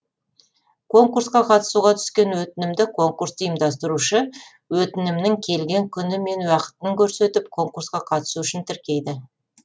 конкурсқа қатысуға түскен өтінімді конкурсты ұйымдастырушы өтінімнің келген күні мен уақытын көрсетіп конкурсқа қатысу үшін тіркейді